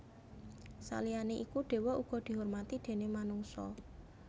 Saliyané iku dewa uga dihormati déné manungsa